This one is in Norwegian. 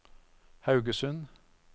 Haugesund